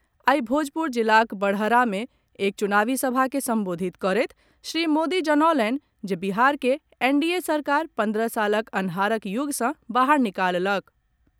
आई भोजपुर जिलाक बड़हरा मे एक चुनावी सभा के संबोधित करैत श्री मोदी जनौलनि जे बिहार के एनडीए सरकार पन्द्रह सालक अन्हारक युग सँ बाहर निकाललक।